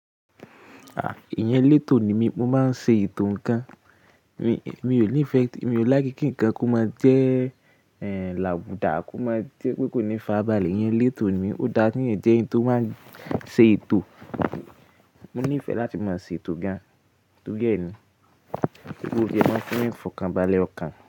À, èèyàn eletọ ni mí, mo máa ń ṣe ìtàn ǹkan. Mi ò ní ìfẹ́, mi ò lákíkí ǹkan kó má jẹ́, ẹ́, làbùdá kó má jẹ́ pé kò ní fàbálẹ̀. Èèyàn letọ ni mí, ó dára kí èèyàn jẹ́ ẹni tó máa ń ṣe etò. Mo ní ìfẹ́ láti máa ṣe ìtò ga, tógẹ̀ ẹ ni. Gbogbo ìjẹ́ máa ń fún ẹ̀fọn kan, balẹ̀ ọ̀kan.